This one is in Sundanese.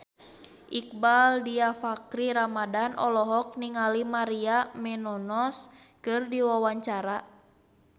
Iqbaal Dhiafakhri Ramadhan olohok ningali Maria Menounos keur diwawancara